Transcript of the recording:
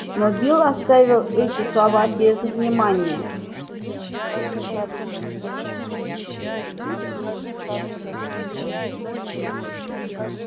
но билл оставил эти слова без внимания